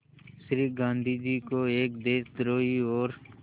श्री गांधी जो एक देशद्रोही और